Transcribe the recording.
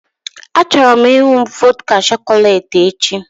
Achọrọ m ịnụ vodka chọcọlate echi